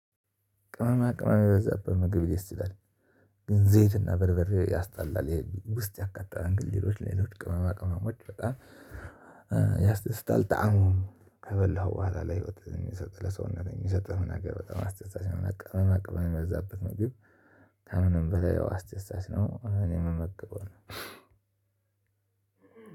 ቅመማ ቅመማ በዛ በምግብ ሊስት ይችላል። ግን ዘይት እና በርበሬ ያስጣላል ይሄ ውስጥ ያካለን ግን ሌሎች ሌሎች ቅመማ ቅመሞች በጣም ያስደስታል። ጣእሙም ከበላሁ በኋላ ላይ ህይወት የሚሰጥህ ለሰውነት የሚሰጥህ መናገር በጣም አስተሳሰብ ነው የምናውቀው መቅበን የምንበዛበት መግቢት። ከምንም በላይ ያው አስተሳሰት ነው። እኔም መመከብ ነው።